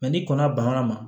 ni kɔnna banna ma